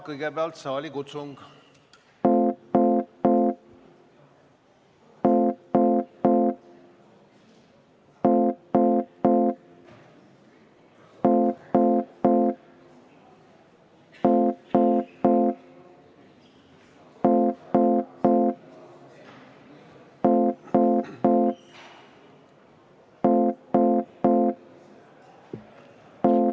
Kõigepealt saalikutsung.